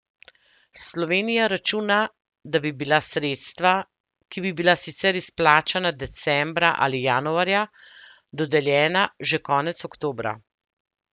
Slovenija računa, da bi bila sredstva, ki bi bila sicer izplačana decembra ali januarja, dodeljena že konec oktobra.